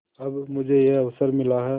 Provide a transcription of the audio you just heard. अब मुझे यह अवसर मिला है